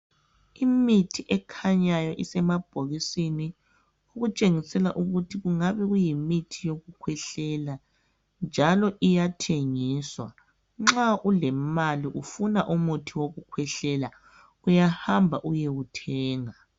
Imithi ekhanyayo isemabhokisini okutshengisela ukuthi kungabe kuyimithi yokukhwehlela njalo iyathengiswa nxa ulemali ufuna umuthi wokukhwehlela uyahamba uyowuthenga.